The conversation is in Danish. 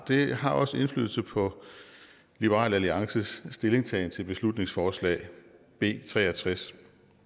har også indflydelse på liberal alliances stillingtagen til beslutningsforslag b tre og tres